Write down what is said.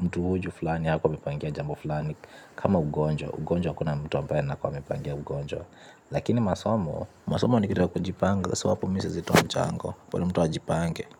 mtu huyu fulani. Hakuwa amepangia jambo fulani. Kama ugonjwa ugonjwa hakuna mtu ambae ana kuwa amepangia ugonjwa. Lakini masomo masomo ni kitu ya kujipanga So hapo mimi siwezi towa mchango bora mtu ajipange.